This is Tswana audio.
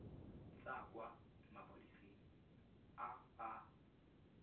tswa kwa maphodiseng a a